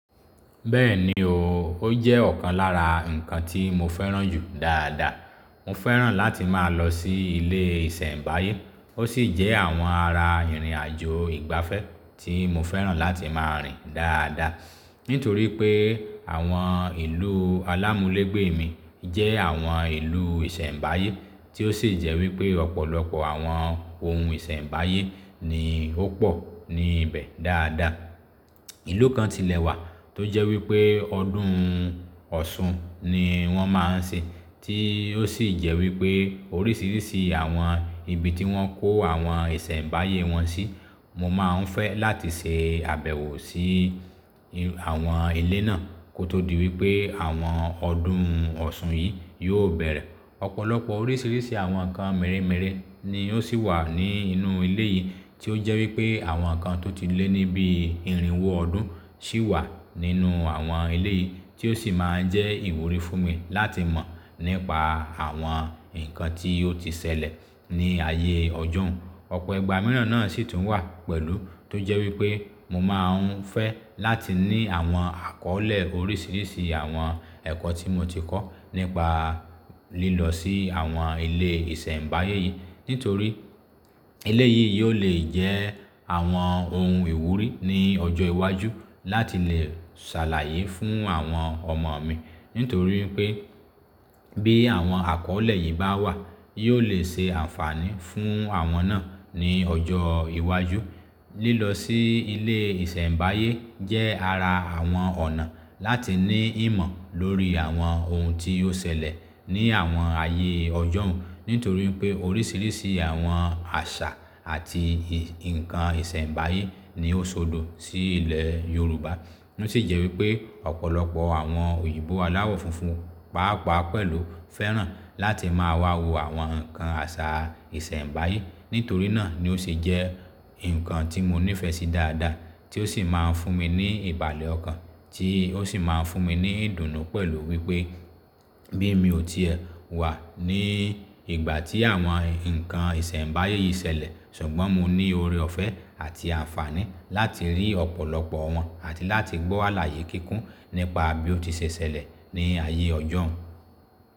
Bẹ́ẹ̀ni o, ó jẹ́ ọ̀kan lára nǹkan tí mo fẹ́ràn jù dáadáa. Mo fẹ́ràn láti máa lọ sí ilé ìsẹ̀mbáyé. Ó sì jẹ́ àwọn ara ìrìnàjò ìgbafẹ́ tí mo fẹ́ràn láti máa rìn dáadáa. Nítorí pé àwọn ìlú alámúlègbè mi jẹ́ àwọn ìlú ìsẹ̀mbáyé tí ó sì jẹ́ wípé ọ̀pọ̀lọpọ̀ àwọn ohun ìsẹ̀mbáyé ni ó pọ̀ níbẹ̀ dáadáa. Ìlú kan tilẹ̀ wà tó jẹ́ wípé ọdún Ọ̀ṣun ni wọ́n máa ń ṣe, tí ó sì jẹ́ wípé oríṣiríṣi àwọn ibi tí wọ́n kó àwọn ìsẹ̀mbáyé wọn sí, mo máa ń fẹ́ láti ṣe àbẹ̀wò sí àwọn ilé náà kó tó di wípé àwọn ọdún Ọ̀ṣun yìí yóò bẹ̀rẹ̀. Ọ̀pọ̀lọpọ̀ oríṣiríṣi àwọn nǹkan mèremère ni ó sì wà ní inú ilé yìí tí ó jẹ́ wípé àwọn nǹkan tó ti lé ní bí ìrìnwó ọdún sì wà nínú àwọn ilé yìí tí ó sì máa ń jẹ́ ìwúrí fún mi láti mọ̀ nípa àwọn nǹkan tí ó ti ṣẹlẹ̀ ní ayé ọjọ́un. Ọ̀pọ̀ ìgbà mìíràn náà sì tún wà pẹ̀lú tó jẹ́ wípé mo máa ń fẹ́ láti ní àwọn àkọ́lé oríṣiríṣi àwọn ẹ̀kọ́ tí mo ti kọ́ nípa lílọ sí àwọn ilé ìsẹ̀mbáyé yìí. Nítorí ilé yìí yóò lè jẹ́ àwọn ohun ìwúrí ní ọjọ́ iwájú láti lè ṣàlàyé fún àwọn ọmọ mi. Nítorí pé bí àwọn àkọ́lé yìí bá wà, yóò lè ṣe ànfààní fún àwọn náà ní ọjọ́ iwájú. Lílọ sí ilé ìsẹ̀mbáyé jẹ́ ara àwọn ọ̀nà láti ní ìmọ̀ lórí àwọn ohun tí ó ṣẹlẹ̀ ní àwọn ayé ọjọ́un. Nítorí pé oríṣiríṣi àwọn àṣà àti nǹkan ìsẹ̀mbáyé ni ó sọdọ̀ sí ilẹ̀ Yorùbá. Ó sì jẹ́ wípé ọ̀pọ̀lọpọ̀ àwọn òyìnbó aláwọ̀ funfun, pàápàá pẹ̀lú, fẹ́ràn láti máa wá wo àwọn nǹkan àṣà ìsẹ̀mbáyé. Nítorí náà ni ó sì jẹ́ nǹkan tí mo nífẹ̀ẹ́ sí dáadáa tí ó sì máa ń fún mi ní ìbàlẹ̀ ọkàn, tí ó sì máa ń fún mi ní ìdùnnú pẹ̀lú wípé bí mi ò tí wà ní ìgbà tí àwọn nǹkan ìsẹ̀mbáyé yìí ṣẹlẹ̀, ṣùgbọ́n mo ní ọrẹ ọ̀fẹ́ àti àǹfààní láti rí ọ̀pọ̀lọpọ̀ wọn àti láti gbọ́ àlàyé kíkún nípa bí ó ti ṣe ṣẹlẹ̀ ní ayé ọjọ́un.